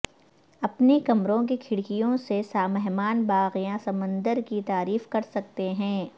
اپنے کمروں کے کھڑکیوں سے مہمان باغ یا سمندر کی تعریف کر سکتے ہیں